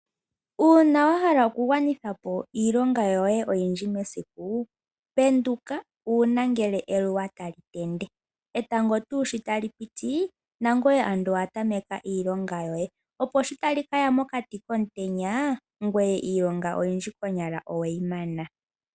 Uuna wa hala okugwanitha po iilonga yoye oyindji mesiku, penduka uuna ngele eluwa tali tende. Etango tuu sho tali piti, nangweye ando owa tameka iilonga yoye, opo shi tali kaya mokati komutenya, ngweye iilonga oyindji konyala oweyi mana.